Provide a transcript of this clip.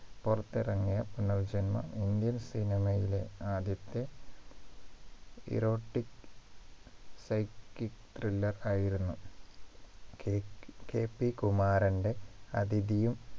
പുറത്തിറങ്ങിയ പുനർജന്മം Indian cinema യിലെ ആദ്യത്തെ erotic pshyschic thriller ആയിരുന്നു കെ KP കുമാരന്റെ അതിഥിയും